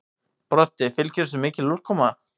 Broddi: Fylgir þessu mikil úrkoma?